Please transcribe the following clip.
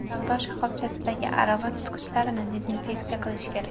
Savdo shoxobchasidagi arava tutqichlarini dezinfeksiya qilish kerak.